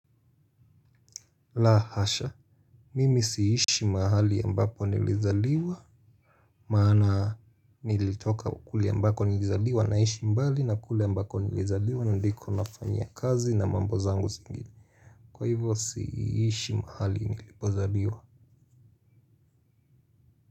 La hasha, mimi siishi mahali ambapo nilizaliwa. Maana nilitoka kule ambako nilizaliwa naishi mbali na kule ambako nilizaliwa na ndiko nafanya kazi na mambo zangu zingine. Kwa hivo siishi mahali nilipozaliwa.